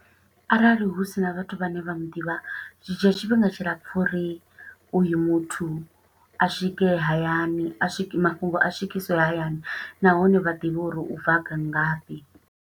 Arali hu sina vhathu vhane vha muḓivha, zwi dzhia tshifhinga tshilapfu uri uyu muthu a swike hayani, a swiki, mafhungo a swikiswe hayani. Nahone vha ḓivhe uri u bva nga fhi.